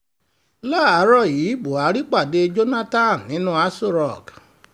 láàárọ̀ yìí buhari pàdé jonathan nínú aṣọ rock